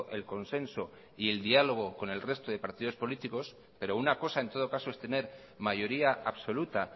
el consenso y el diálogo con el resto de partidos políticos pero una cosa en todo caso es tener mayoría absoluta